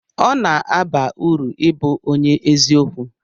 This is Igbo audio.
ọ na-aba uru ịbụ onye eziokwu